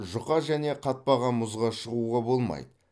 жұқа және қатпаған мұзға шығуға болмайды